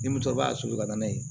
Ni musokɔrɔba y'a soli ka na n'a ye